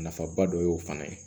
Nafaba dɔ y'o fana ye